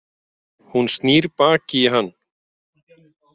Hún snýr baki í hann.